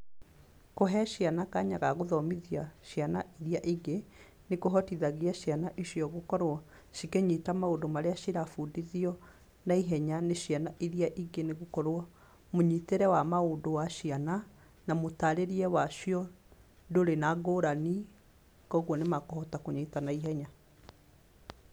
Kũhe ciana kanya ga gũthomithia ciana irĩa ingĩ nĩkũhotithagia ciana icio gũkorwo cikĩnyita maũndũ marĩa cirabundithio naihenya nĩ ciana irĩa ingĩ nĩgũkorwo, mũnyitĩre wa maũndũ wa ciana na mũtarĩrie wacio ndũrĩ na ngũrani, kwoguo nĩmekũhota kũnyita na ihenya.